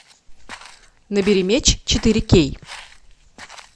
набери меч четыре кей